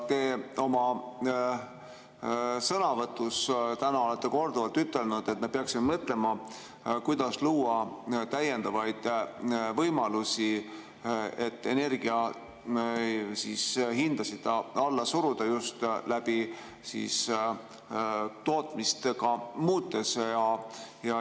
Ka oma sõnavõtus te täna olete korduvalt ütelnud, et me peaksime mõtlema, kuidas luua täiendavaid võimalusi, et energiahindasid alla suruda just ka tootmist muutes.